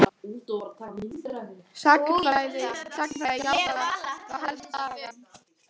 Sagnfræði já það væri þá helst Sagan.